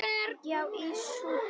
Já, í Súdan.